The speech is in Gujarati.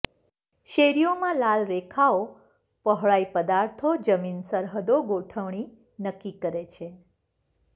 શેરીઓમાં લાલ રેખાઓ પહોળાઈ પદાર્થો જમીન સરહદો ગોઠવણી નક્કી કરે છે